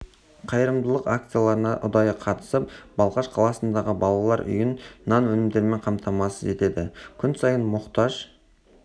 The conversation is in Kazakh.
қайырымдылық акцияларына ұдайы қатысып балқаш қаласындағы балалар үйін нан өнімдерімен қамтамасыз етеді күн сайын мұқтаж